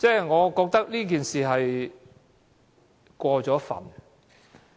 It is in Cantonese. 我覺得這說法，有點過分。